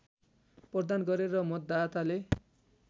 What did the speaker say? प्रदान गरे र मतदाताले